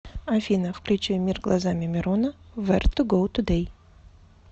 афина включи мир глазами мирона вэр ту го тудэй